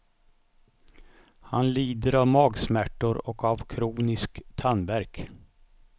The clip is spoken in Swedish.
Han lider av magsmärtor och av kronisk tandvärk.